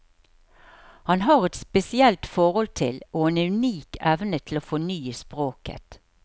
Han har et spesielt forhold til og en unik evne til å fornye språket.